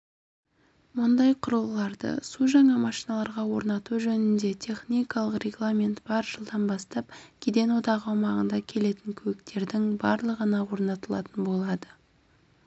мұндай құрылғыларды су жаңа машиналарға орнату жөнінде техникалық регламент бар жылдан бастап кеден одағы аумағына келетін көліктердің барлығына орнатылатын болады